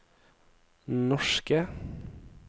norske